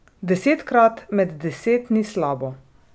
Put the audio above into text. Desetkrat med deset ni slabo.